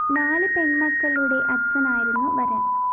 നാല് പെണ്‍മക്കളുടെ അച്ഛനായിരുന്നു വരന്‍